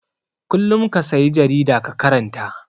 Kullum ka sayi jarida ka karanta.